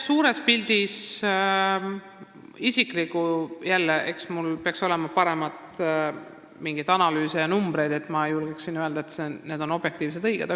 Suures pildis on jälle nii, et mul peaksid paremad analüüsid ja numbrid ees olema – siis ma julgeksin öelda, et mu väited on viimseni objektiivsed ja õiged.